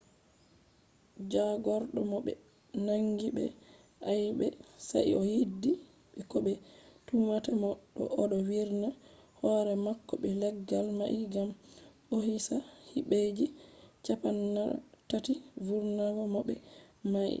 jagordo mo be nangi be aibe sai o yaddi be ko be tumata mo do odo virna hore mako be leggal mai gam ohisa hibeji cappanatati vurnata mo be mai